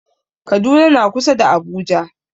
Kaduna na kusa da Abuja.